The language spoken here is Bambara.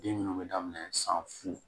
Den minnu bɛ daminɛ san fu